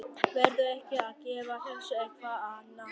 Verður ekki að gefa þessu eitthvað að naga?